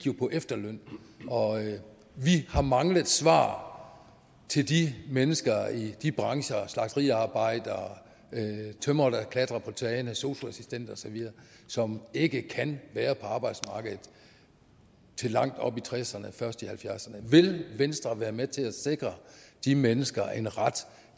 på efterløn vi har manglet svar til de mennesker i de brancher slagteriarbejdere tømrere der klatrer på tage sosu assistenter osv som ikke kan være på arbejdsmarkedet til langt op i tresserne eller først i halvfjerdserne vil venstre være med til at sikre de mennesker en ret